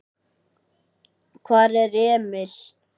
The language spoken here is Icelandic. Hvar er Emil?